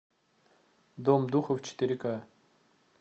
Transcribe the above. дом духов четыре ка